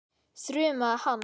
þrumaði hann.